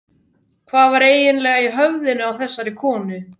Hvað var eiginlega í höfðinu á þessari konu?